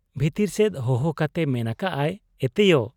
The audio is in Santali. ᱵᱷᱤᱛᱤᱨ ᱥᱮᱫ ᱦᱚᱦᱚ ᱠᱟᱛᱮᱭ ᱢᱮᱱ ᱟᱠᱟᱜ ᱟ, 'ᱮᱛᱮᱭᱚ !